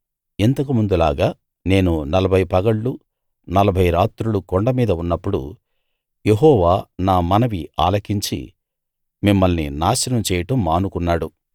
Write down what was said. ఇంతకు ముందులాగా నేను నలభై పగళ్లు నలభై రాత్రులు కొండ మీద ఉన్నప్పుడు యెహోవా నా మనవి ఆలకించి మిమ్మల్ని నాశనం చేయడం మానుకున్నాడు